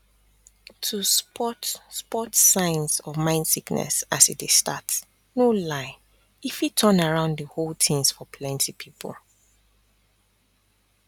to spot spot signs of mind sickness as e dey start no lie e fit turn around di whole tins for plenty pipul